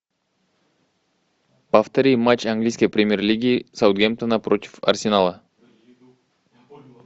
повтори матч английской премьер лиги саутгемптона против арсенала